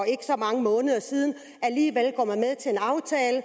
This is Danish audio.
ikke så mange måneder siden alligevel går man er